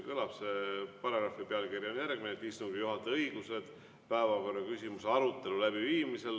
Selle paragrahvi pealkiri on järgmine: "Istungi juhataja õigused päevakorraküsimuse arutelu läbiviimisel".